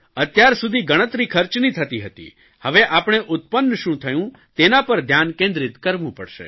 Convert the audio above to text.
અત્યાર સુધી ગણતરી ખર્ચની થતી હતી હવે આપણે ઉત્પન્ન શું થયું તેના પર ધ્યાન કેન્દ્રીત કરવું પડશે